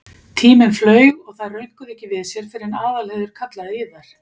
Tíminn flaug og þær rönkuðu ekki við sér fyrr en Aðalheiður kallaði í þær.